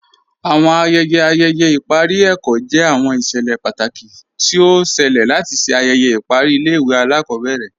Awọn ayẹyẹ ayẹyẹ ipari ẹkọ jẹ awọn iṣẹlẹ pátákì tó ọ ṣẹ̀lẹ̀ látì ṣè ayẹyẹ ipari ilẹ̀-ìwé alakọbẹrẹ.